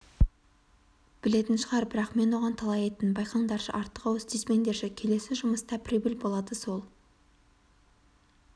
білетін шығар бірақ мен оған талай айттым байқаңдаршы артық-ауыс тиіспеңдерші келесі жұмыста прибыль болады сол